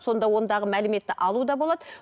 сонда ондағы мәліметті алу да болады